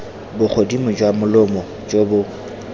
bogodimo jwa molomo jo bo